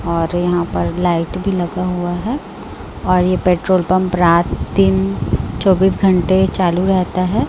और यहां पर लाइट भी लगा हुआ है और ये पेट्रोल पंप रात दिन चौबीस घंटे चालू रहता है।